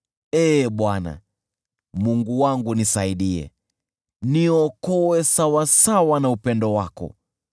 Ee Bwana , Mungu wangu nisaidie, niokoe sawasawa na upendo wako.